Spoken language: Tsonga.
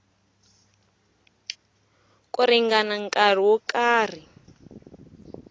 ku ringana nkarhi wo karhi